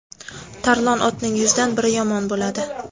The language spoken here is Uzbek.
tarlon otning yuzdan biri yomon bo‘ladi.